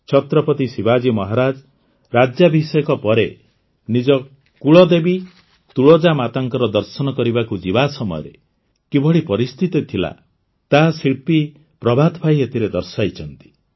ଛତ୍ରପତି ଶିବାଜୀ ମହାରାଜ ରାଜ୍ୟାଭିଷେକ ପରେ ନିଜ କୁଳଦେବୀ ତୁଳଜା ମାତାଙ୍କ ଦର୍ଶନ କରିବାକୁ ଯିବା ସମୟରେ କିଭଳି ପରିସ୍ଥିତି ଥିଲା ତାହା ଶିଳ୍ପୀ ପ୍ରଭାତ ଭାଇ ଏଥିରେ ଦର୍ଶାଇଛନ୍ତି